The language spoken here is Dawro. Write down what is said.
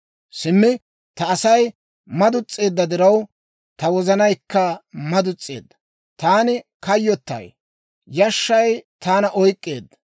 Simmi ta Asay maduns's'eedda diraw, ta wozanaykka maduns's'eedda. Taani kayyottay; yashshay taana oyk'k'eedda.